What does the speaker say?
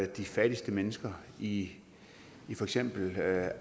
de fattigste mennesker i for eksempel